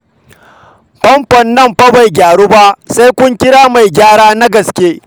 Famfon nan fa bai gyaru ba, sai kun kira mai gyara na gaske